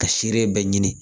Ka seere bɛɛ ɲini